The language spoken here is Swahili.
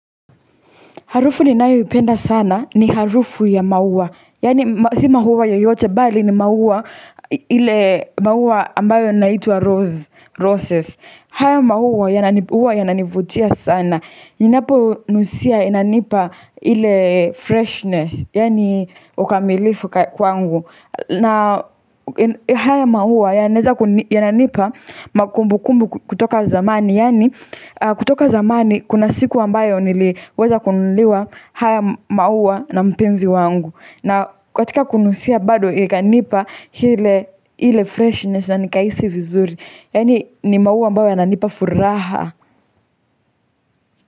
Harufu ninayo ipenda sana ni harufu ya maua. Yani si maua yoyote bali ni maua ile maua ambayo inaitwa rose, roses. Haya maua yanani huwa yananivutia sana. Ninapo nusia inanipa ile freshness. Yani ukamilifu kwangu. Na haya maua yananipa makumbu kumbu kutoka zamani. Yani kutoka zamani kuna siku ambayo niliweza kununuliwa haya maua na mpenzi wangu, na katika kunusia bado ikanipa ile freshness na nikaisi vizuri. Yani ni maua ambayo yananipa furaha.